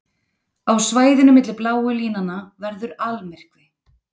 Á svæðinu milli bláu línanna verður almyrkvi.